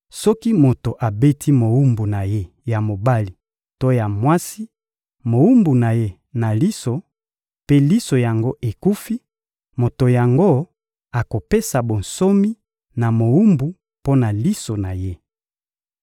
Soki moto abeti mowumbu na ye ya mobali to mwasi mowumbu na ye na liso, mpe liso yango ekufi, moto yango akopesa bonsomi na mowumbu mpo na liso na ye.